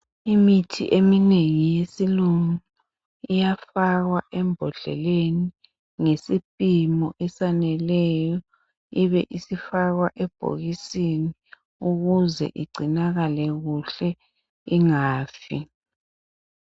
imithi eminengi yesilungu iyafakwa embodleleni ngesipimo esaneleyo ibe isifakwa ebhokisini ukuze igcinakale kuhle ingafi